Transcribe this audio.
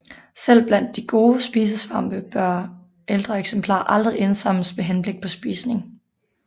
Selv blandt de gode spisesvampe bør ældre eksemplarer aldrig indsamles med henblik på spisning